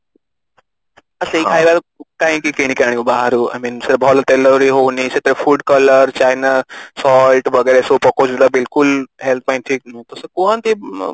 ଆଉ ସେଇ କାହିଁକି କିଣିକି ଆଣିବୁ ବାହାରେ I mean ସେଇଟା ଭଲ ତେଲରେ ହଉନି ସେଥିରେ food colour ଚାଇନା salt ବଗେରା ସବୁ ପକଉଛନ୍ତି ତ ବିଲକୁଲ health ପାଇଁ ଠିକ ନୁହେଁ ତ ସେ କୁହନ୍ତି